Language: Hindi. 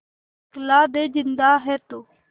दिखला दे जिंदा है तू